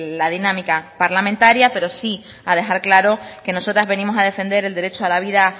la dinámica parlamentaria pero si a dejar claro que nosotras venimos a defender el derecho a la vida